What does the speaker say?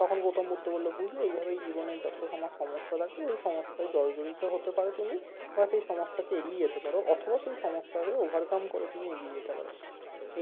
তখন গৌতম বুদ্ধ বললো বুঝলে এইভাবেই জীবনে যত তোমার সমস্যা থাকে ওই সমস্যায় জলজরিত হতে পারো তুমি বা সেই সমস্যাকে এড়িয়ে যেতে পারো অথবা তুমি সমস্যাকে overcome করে তুমি এগিয়ে যেতে পারো